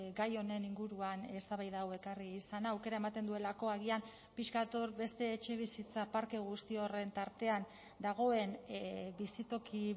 gai honen inguruan eztabaida hau ekarri izana aukera ematen duelako agian pixka bat hor beste etxebizitza parke guzti horren tartean dagoen bizitoki